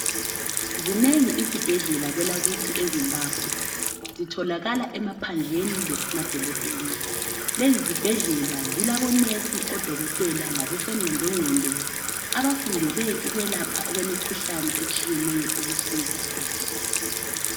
Zinengi izibhedlela kwelakithi eZimbabwe zitholakala emaphandleni lasemadolobheni lezi zibhedlela zilamanesi odokotela labosongqondongqondo abafundele ukwelapha okwemikhuhlane etshiyeneyo ukusiza uzulu.